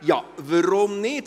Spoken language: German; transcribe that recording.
Ja, warum nicht?